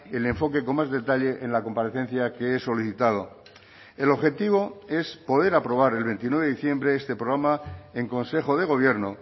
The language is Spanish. el enfoque con más detalle en la comparecencia que he solicitado el objetivo es poder aprobar el veintinueve de diciembre este programa en consejo de gobierno